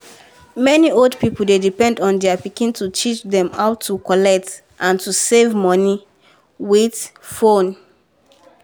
many old people dey depend on their pikin to teach dem how to collect and to save money with phone.